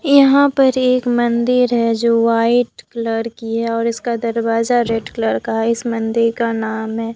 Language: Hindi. यहां पर एक मंदिर है जो वाइट कलर की है और इसका दरवाजा रेड कलर का है इस मंदिर का नाम है।